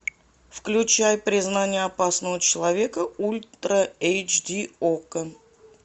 включай признание опасного человека ультра эйч ди окко